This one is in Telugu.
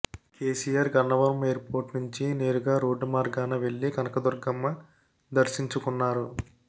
కేసీఆర్ గన్నవరం ఎయిర్పోర్ట్ నుంచి నేరుగా రోడ్డు మార్గాన వెళ్లి కనకదుర్గమ్మ దర్శించుకున్నారు